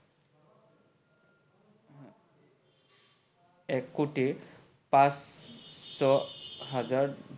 কোতে পাচশ হাজাৰ